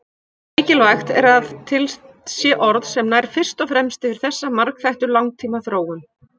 Mikilvægt er að til sé orð sem nær fyrst og fremst yfir þessa margþættu langtímaþróun.